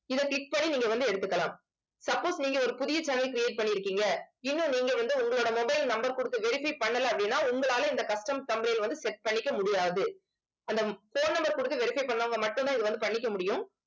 இதை click பண்ணி நீங்க வந்து எடுத்துக்கலாம் suppose நீங்க ஒரு புதிய channel create பண்ணிருக்கீங்க. இன்னும் நீங்க வந்து உங்களோட mobile number கொடுத்து verify பண்ணல அப்படின்னா உங்களால இந்த custom thumbnail வந்து set பண்ணிக்க முடியாது. அந்த phone number கொடுத்து verify பண்ணவங்க மட்டும்தான் இதை வந்து பண்ணிக்க முடியும்